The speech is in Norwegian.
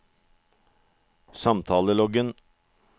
samtaleloggen